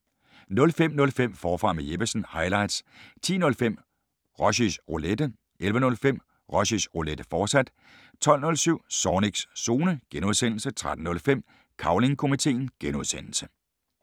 05:05: Forfra med Jeppesen – highlights 10:05: Rushys Roulette 11:05: Rushys Roulette, fortsat 12:07: Zornigs Zone (G) 13:05: Cavling Komiteen (G)